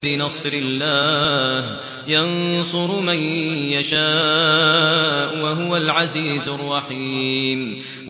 بِنَصْرِ اللَّهِ ۚ يَنصُرُ مَن يَشَاءُ ۖ وَهُوَ الْعَزِيزُ الرَّحِيمُ